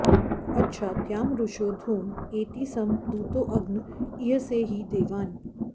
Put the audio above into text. अच्छा द्यामरुषो धूम एति सं दूतो अग्न ईयसे हि देवान्